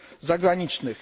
zagranicznych.